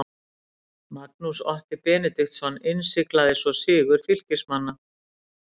Magnús Otti Benediktsson innsiglaði svo sigur Fylkismanna.